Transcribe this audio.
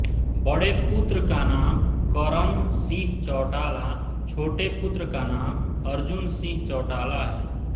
बड़े पुत्र का नाम करण सिंह चौटाला छोटे पुत्र का नाम अर्जुन सिंह चौटाला है